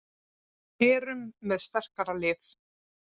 Erum með sterkara lið